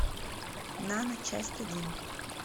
нано часть один